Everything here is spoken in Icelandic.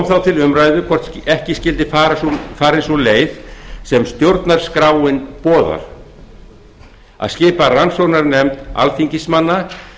þá til umræðu hvort ekki skyldi farin sú leið sem stjórnarskráin boðar að skipa rannsóknarnefnd alþingismanna